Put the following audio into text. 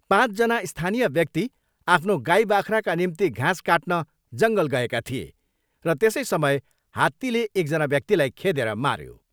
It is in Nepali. पाँचजना स्थानिय व्यक्ति आफ्नो गाई बाख्राका निम्ति घाँस काटन जङ्गल गएका थिए र त्यसै समय हात्तीले एकजना व्यक्तिलाई खेदेर माऱ्यो।